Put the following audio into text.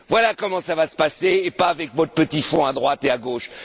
Voilà comment cela se passera et non pas avec votre petit fonds à droite et à gauche.